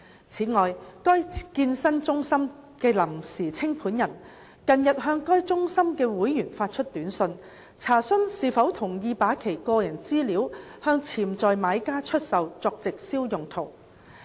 此外，該健身中心的臨時清盤人近日向該中心的會員發出短訊，查詢是否同意把其個人資料向潛在買家出售作直銷用途。